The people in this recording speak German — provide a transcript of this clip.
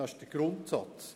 Das ist der Grundsatz.